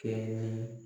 Kɛɲɛ